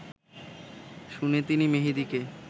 শুনে তিনি মেহেদীকে